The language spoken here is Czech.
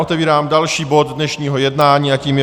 Otevírám další bod dnešního jednání a tím je